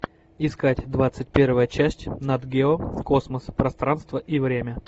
искать двадцать первая часть нат гео космос пространство и время